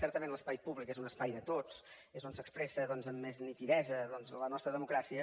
certament l’espai públic és un espai de tots és on s’expressa doncs amb més nitidesa la nostra democràcia